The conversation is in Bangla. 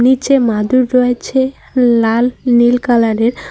নিচে মাদুর রয়েছে লাল নীল কালার -এর।